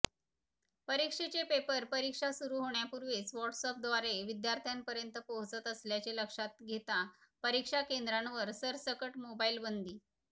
परीक्षेचे पेपर परीक्षा सुरू होण्यापूर्वीच व्हॉट्सअँपद्वारे विद्यार्थ्यांपर्यंत पोहोचत असल्याचे लक्षात घेता परीक्षा केंद्रांवर सरसकट मोबाईलबंदी